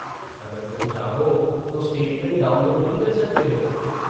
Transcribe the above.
अगर तुम चाहो तो स्टेटमेंट डाउनलोड भी कर सकते हो।